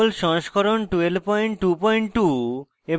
jmol সংস্করণ 1222